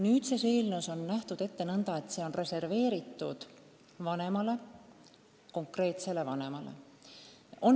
Nüüdses eelnõus on nähtud ette nõnda, et see puhkus on reserveeritud konkreetsele vanemale.